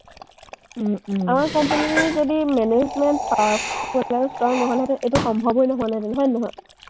আমাৰ company এ যদি management হ’ল আৰু strong নহ’লহেঁতেন, এইটো সম্ভৱেই নহ’লহেঁতেন, হয়নে নহয়?